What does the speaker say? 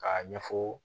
K'a ɲɛfɔ